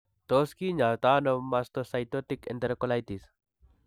Tos kinyaaytano mastocytic enterocolitis?